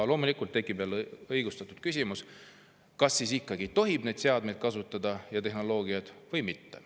Loomulikult tekib jälle õigustatud küsimus, kas siis ikkagi tohib Hiina seadmeid ja tehnoloogiat kasutada või mitte.